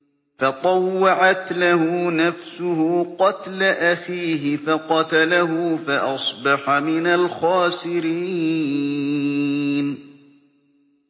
فَطَوَّعَتْ لَهُ نَفْسُهُ قَتْلَ أَخِيهِ فَقَتَلَهُ فَأَصْبَحَ مِنَ الْخَاسِرِينَ